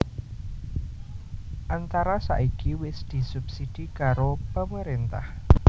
Antara saiki wis disubsidi karo pemerintah